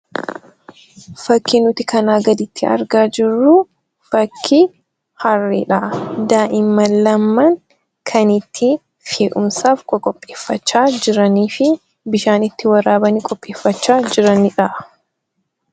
Fakkiin nuti kanaa gaditti argaa jirruu, fakkii harreedha. Daa'imman lamaan kan itti fe'umsaaf qoqopheeffachaa jiraniifi bishaan itti waraabanii qopheeffachaa jiranidha.